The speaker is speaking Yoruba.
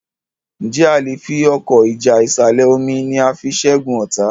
Nje a lẹ fí Ọkọ́ ìjà ìsàlẹ̀-omi ní a fí ṣẹgun ọta?